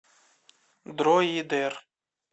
дроидер